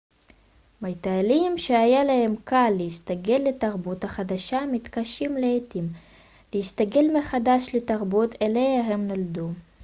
מטיילים שהיה להם קל להסתגל לתרבות החדשה מתקשים לעתים להסתגל מחדש לתרבות אליה הם נולדו